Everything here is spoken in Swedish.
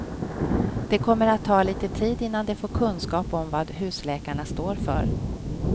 Det kommer att ta lite tid innan de får kunskap om vad husläkarna står för.